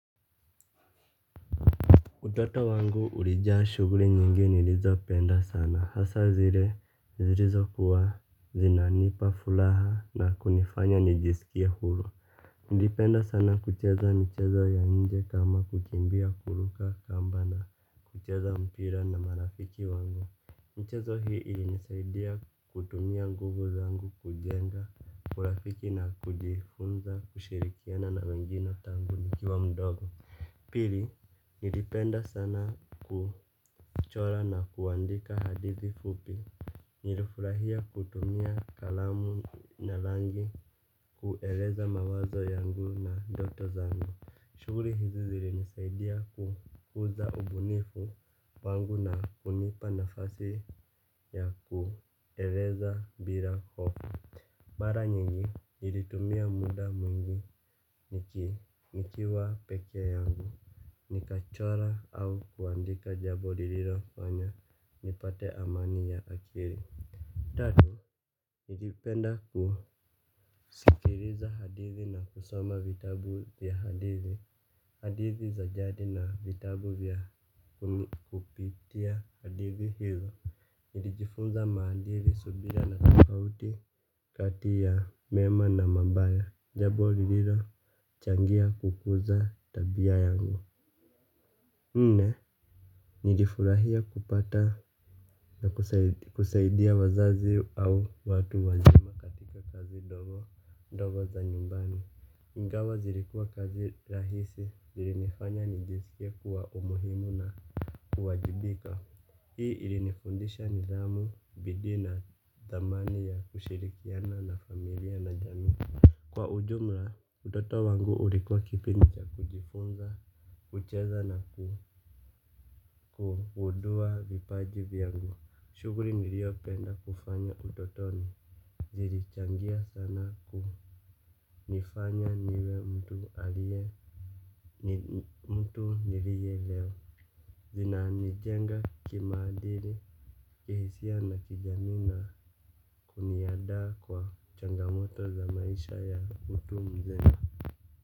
Utoto wangu ulijaa shughuli nyingi nilizo penda sana hasa zile zilizo kuwa zinanipa furaha na kunifanya nijisikie huru. Nlipenda sana kucheza michezo ya nje kama kukimbia kuruka kamba na kucheza mpira na marafiki wangu michezo hii ilinisaidia kutumia nguvu zangu kujenga urafiki na kujifunza kushirikiana na wengine tangu nikiwa mdogo. Pili nilipenda sana kuchora na kuandika hadithi fupi. Nilifurahia kutumia kalamu na rangi kueleza mawazo yangu na ndoto zangu. Shughuli hizi zilinisaidia kukuza ubunifu wangu na kunipa nafasi ya kueleza bila hofu. Mara nyingi nilitumia muda mwingi nikiwa peke yangu nikachora au kuandika jambo lililofanya nipate amani ya akili. Tatu nilipenda kusikiliza hadithi na kusoma vitabu ya hadithi. Hadithi za jadi na vitabu ya kupitia hadithi hizo. Nilijifunza maadili subira na tofauti kati ya mema na mabaya. Jambo lililo changia kukuza tabia yangu nne nilifurahia kupata na kusaidia wazazi au watu wazima katika kazi ndogo ndogo za nyumbani ingawa zilikuwa kazi rahisi zilinifanya nijisikie kuwa umuhimu na kuwajibika. Hii ilinifundisha nidhamu bidii na thamani ya kushirikiana na familia na jamii. Kwa ujumla utoto wangu ulikuwa kipindi cha kujifunza kucheza na kugundua vipaji vyangu shughuli niliyopenda kufanya utotoni zilichangia sana kunifanya niwe mtu alie mtu nilie leo. Zina nijenga kimaadili kihisia na kijamii kuni andaa kwa changamoto za maisha ya utu mzima.